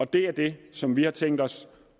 det er det som vi har tænkt os